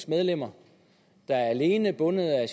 medlemmer der alene er bundet af